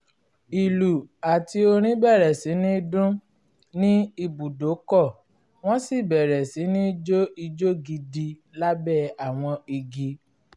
ìlù àti orin bẹ̀rẹ̀ sí ní dún ní ibùdókọ̀ wọ́n sì bẹ̀rẹ̀ sí ní jó ijó gidi lábẹ́ àwọn igi